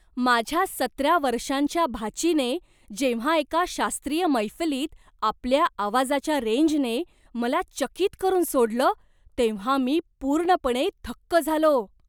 माझ्या सतरा वर्षांच्या भाचीने जेव्हा एका शास्त्रीय मैफलीत आपल्या आवाजाच्या रेंजने मला चकित करून सोडलं तेव्हा मी पूर्णपणे थक्क झालो.